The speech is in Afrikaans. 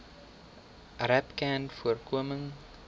rapcanvoorkoming